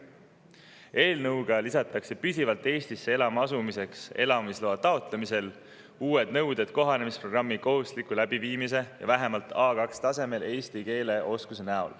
Eelnõuga lisanõuded püsivalt Eestisse elama asumiseks elamisloa: kohanemisprogrammi kohustuslik läbimine ja vähemalt A2‑tasemel eesti keele oskus.